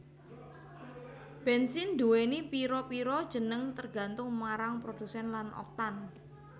Bènsin nduwèni pira pira jeneng tergantung marang produsèn lan Oktan